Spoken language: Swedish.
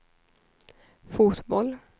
fotboll